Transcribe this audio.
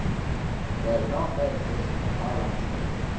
Der er et enormt regelsæt, som går meget langt tilbage.